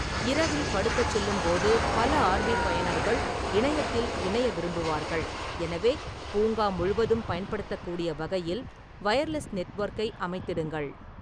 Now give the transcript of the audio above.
இரவில் படுக்கச் செல்லும்போது பல ஆர்.வி. பயனர்கள் இணையத்தில் இணைய விரும்புவார்கள், எனவே பூங்கா முழுவதும் பயன்படுத்தக்கூடிய வகையில் வயர்லெஸ் நெட்வொர்க்கை அமைத்திடுங்கள்.